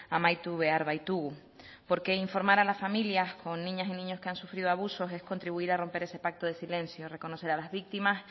amaitu behar baitugu porque informar a la familia con niñas y niños que han sufrido abusos es contribuir a romper ese pacto de silencio reconocer a las víctimas